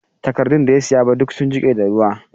Takardun da ya siya ba duk sun jike da ruwa